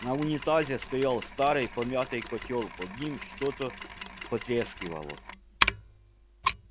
на унитазе стоял старый помятый котёл под ним что-то потрескивало